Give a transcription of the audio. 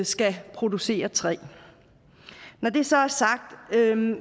skal producere træ når det så er sagt vil